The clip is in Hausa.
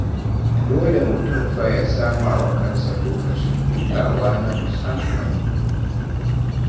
Dole mutum fa ya sama wa kansa lokacin hutawa na musamman.